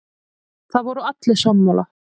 Það voru allir sammála.